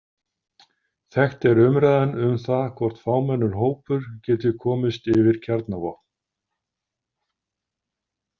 Þekkt er umræðan um það hvort fámennur hópur geti komist yfir kjarnavopn.